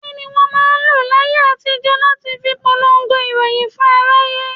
Kini wọn máa ń lọ láyé àtijó láti fi polongo ìròyìn fún aráyé?